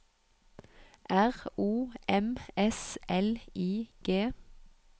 R O M S L I G